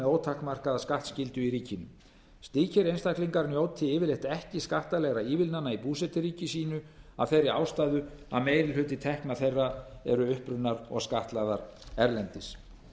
ótakmarkaða skattskyldu í ríkinu slíkir einstaklingar njóti yfirleitt ekki skattalegra ívilnana í búseturíki sínu af þeirri ástæðu að meiri hluti tekna þeirra eru upprunnar og skattlagðar erlendis